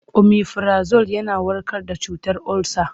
Omifirazol yana warkar da cutar olsa.